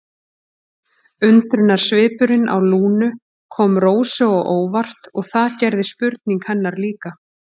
Undrunarsvipurinn á Lúnu kom Rósu á óvart og það gerði spurning hennar líka.